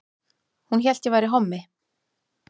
Hún hélt ég væri hommi